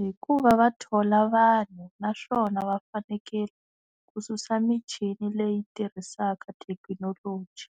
Hikuva va thola vanhu naswona va fanekele ku susa michini leyi tirhisaka thekinoloji